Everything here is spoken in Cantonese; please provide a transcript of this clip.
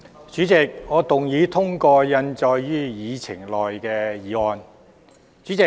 主席，我動議通過印載於議程內的議案。